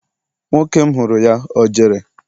nwoke m huru ya, o jere?